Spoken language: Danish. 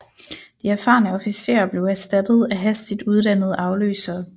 De erfarne officerer blev erstattet af hastigt uddannede afløsere